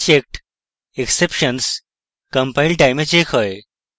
checked exceptions compile time এ checked হয়